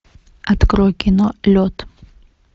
открой кино лед